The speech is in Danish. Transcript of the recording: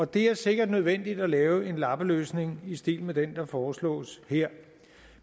det er sikkert nødvendigt at lave en lappeløsning i stil med den der foreslås her